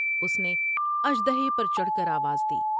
اس نے اثر د ہے پر چڑھ کر آواز دی ۔